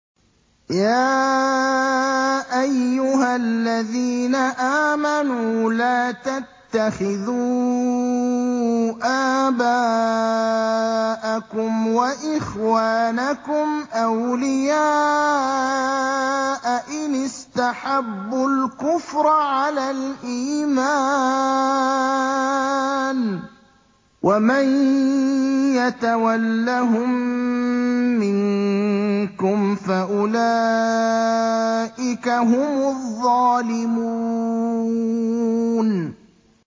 يَا أَيُّهَا الَّذِينَ آمَنُوا لَا تَتَّخِذُوا آبَاءَكُمْ وَإِخْوَانَكُمْ أَوْلِيَاءَ إِنِ اسْتَحَبُّوا الْكُفْرَ عَلَى الْإِيمَانِ ۚ وَمَن يَتَوَلَّهُم مِّنكُمْ فَأُولَٰئِكَ هُمُ الظَّالِمُونَ